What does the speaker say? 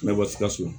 Ne bɛ bɔ sikaso